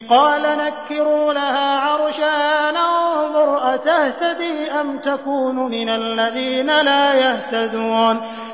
قَالَ نَكِّرُوا لَهَا عَرْشَهَا نَنظُرْ أَتَهْتَدِي أَمْ تَكُونُ مِنَ الَّذِينَ لَا يَهْتَدُونَ